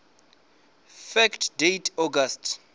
fact date august